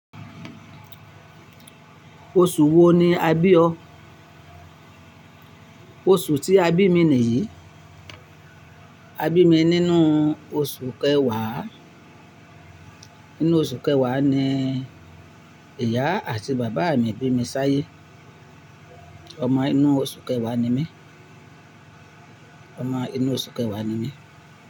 Oṣù wo ni a bí ọ? Oṣù tí a bí mi nìyí. A bí mi nínú oṣù kẹwàá. Nínú oṣù kẹwàá ni ìyá àti bàbá mi bí mi sáyé. Ọmọ inú oṣù kẹwàá ni mí. Ọmọ inú oṣù kẹwàá ni mí.